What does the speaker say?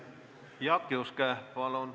Jaak Juske, palun!